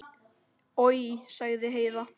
Oj, sagði Heiða.